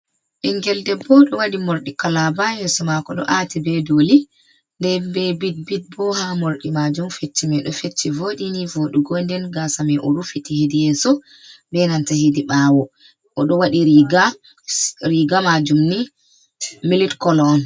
Ɓingel debbo ɗo wadi mordi kalaba yeso mako ɗo ati be doli, nde be bit-bit bo ha mordi majum. Fecci mai ɗo fecci vodi ni vodugo nden gasa mai o rufiti hidi yeso ɓe nanta hidi ɓawo, o ɗo wadi riga, riga majum ni milik kolo on.